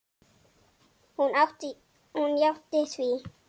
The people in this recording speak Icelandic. Hún játti því.